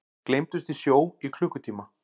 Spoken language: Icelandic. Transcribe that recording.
Gleymdust í sjó í klukkutíma